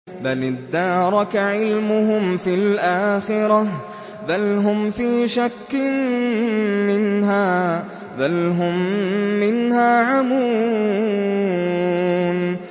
بَلِ ادَّارَكَ عِلْمُهُمْ فِي الْآخِرَةِ ۚ بَلْ هُمْ فِي شَكٍّ مِّنْهَا ۖ بَلْ هُم مِّنْهَا عَمُونَ